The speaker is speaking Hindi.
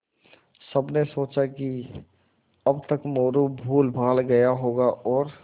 सबने सोचा कि अब तक मोरू भूलभाल गया होगा और